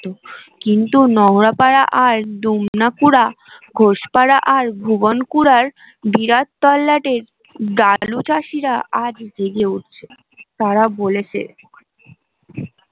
কিন্তু নংরা পারা আর দুমনা পুরা ঘোষ পারা আর ভুবনপুরার বিরাট তল্লাটের দালু চাষীরা আজ জেগে উঠছে তারা বলেছে